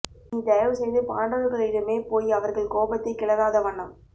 நீ தயவு செய்து பாண்டவர்களிடமேபோய் அவர்கள் கோபத்தை கிளராத வண்ணம்